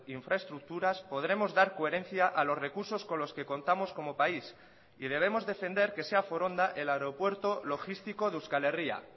infraestructuras podremos dar coherencia a los recursos con los que contamos como país y debemos defender que sea foronda el aeropuerto logístico de euskal herria